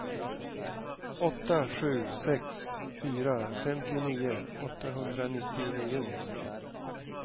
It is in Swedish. åtta sju sex fyra femtionio åttahundranittionio